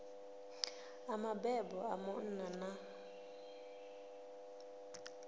a mabebo a munna na